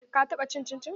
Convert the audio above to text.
Ka taɓa cin cincin?